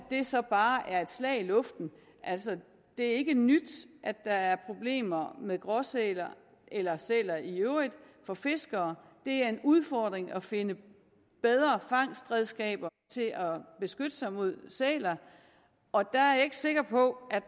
det så bare er et slag i luften det er ikke nyt at der er problemer med gråsæler eller sæler i øvrigt for fiskere det er en udfordring at finde bedre fangstredskaber til at beskytte sig mod sæler og der er jeg ikke sikker på